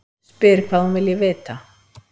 Spyr hvað hún vilji vita.